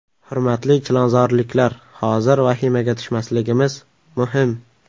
Hurmatli chilonzorliklar, hozir vahimaga tushmasligimiz muhim.